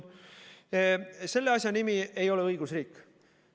Selle asja nimi ei ole õigusriik.